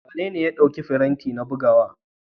Wanene ya ɗauki firinta na bugawa.